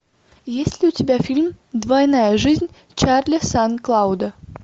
есть ли у тебя фильм двойная жизнь чарли сан клауда